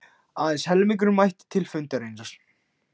Aðeins helmingur mætti til fundarins